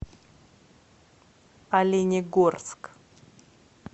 оленегорск